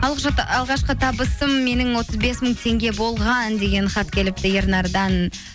алғашқы табысым менің отыз бес мың теңге болған деген хат келіпті ернардан